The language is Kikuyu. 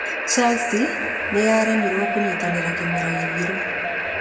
Chelsea nĩyaremirwo kũnyitanĩra kĩmera gĩthiru